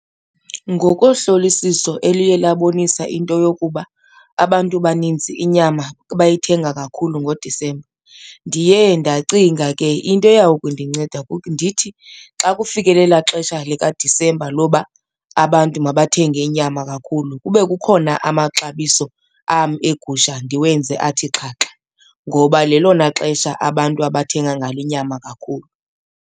Ngokohlolisiso eliye labonisa into yokuba abantu baninzi inyama bayithenga kakhulu ngoDisemba ndiye ndacinga ke into eya kundinceda ndithi xa kufikelele elaa xesha likaDisemba loba abantu mabathenge inyama kakhulu kube kukhona amaxabiso am eegusha ndiwenze athi xhaxha, ngoba lelona xesha abantu abathenga ngalo inyama kakhulu.